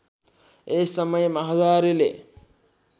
यस समयमा हजारेले